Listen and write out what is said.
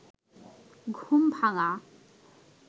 ঘুম ভাঙা